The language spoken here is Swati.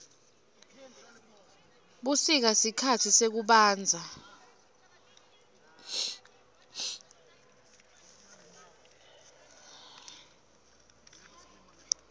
busika sikhatsi sekubandza